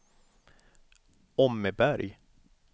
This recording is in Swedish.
Åmmeberg